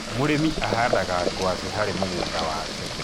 mũrĩmi ahandaga ngwaci harĩ mũgũnda wake